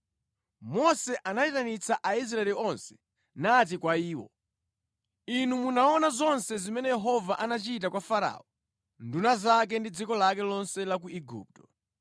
Mose anayitanitsa Aisraeli onse nati kwa iwo: Inu munaona zonse zimene Yehova anachita kwa Farao, nduna zake ndi dziko lake lonse ku Igupto.